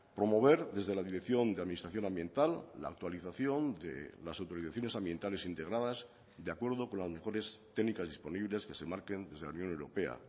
promover desde la dirección de administración ambiental la actualización de las autorizaciones ambientales integradas de acuerdo con las mejores técnicas disponibles que se marquen desde la unión europea